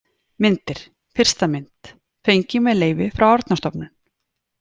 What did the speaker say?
Myndir: Fyrsta mynd: Fengin með leyfi frá Árnastofnun.